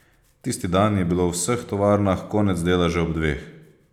Tisti dan je bilo v vseh tovarnah konec dela že ob dveh.